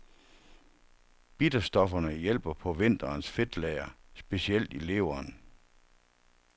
Bitterstofferne hjælper på vinterens fedtlager, specielt i leveren.